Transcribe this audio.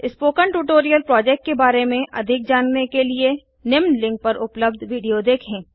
spoken tutorial project के बारें में अधिक जानने के लिए निम्न लिंक पर उपलब्ध विडियो देखें